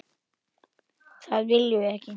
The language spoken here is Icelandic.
Það viljum við ekki.